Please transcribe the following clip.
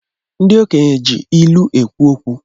Ndi okenye ji ilu ekwu okwu